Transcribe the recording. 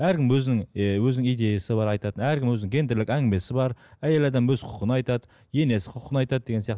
әркім өзінің ы өзінің идеясы бар айтатын әркім өзінің гендерлік әңгімесі бар әйел адам өз құқығын айтады енесі құқығын айтады деген сияқты